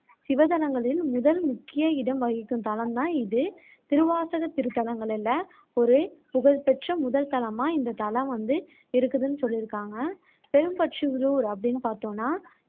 சிவத்தலங்களில் முதல் முக்கிய இடம் வகிக்கும் தலம் தான் இது திருவாசகத் திருத்தலங்களில ஒரு புகழ்பெற்ற முதல் தலமா இந்த தலம் வந்து இருக்குதுன்னு சொல்லியிருக்காங்க அப்படின்னு பாத்தோம்னா